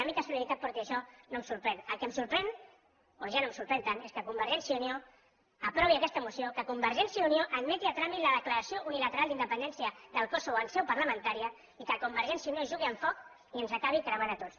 a mi que solidaritat porti això no em sorprèn el que em sorprèn o ja no em sorprèn tant és que convergència i unió aprovi aquesta moció que convergència i unió admeti a tràmit la declaració unilateral d’independència del kosovo en seu parlamentària i que convergència i unió jugui amb foc i ens acabi cremant a tots